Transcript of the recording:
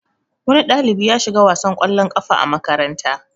Wani ɗalibi ya shiga wasar kwallon kafa a makaranta.